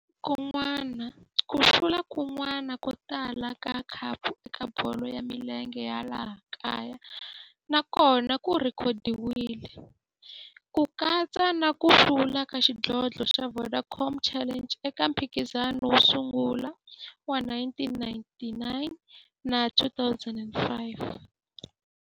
Ku hlula kun'wana ko tala ka khapu eka bolo ya milenge ya laha kaya na kona ku rhekhodiwile, ku katsa na ku hlula ka xidlodlo xa Vodacom Challenge eka mphikizano wo sungula wa 1999 na 2005.